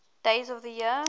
days of the year